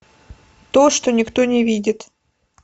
то что никто не видит